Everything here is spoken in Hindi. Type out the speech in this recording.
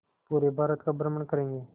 पूरे भारत का भ्रमण करेंगे